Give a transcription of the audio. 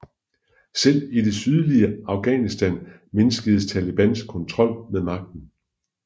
Selv i det sydlige Afghanistan mindskedes Talibans kontrol med magten